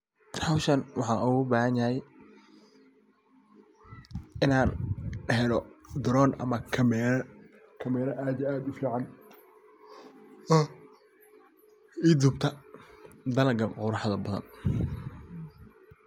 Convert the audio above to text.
Howshan waxan oga bahan yahay inan helo drone ama kameraa. Kameraa aad iyo aad u fican ii dubtaa dalagan aad iyo aadka u qurax badan.